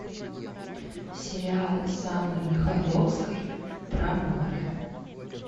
сериал с анной михайловской про море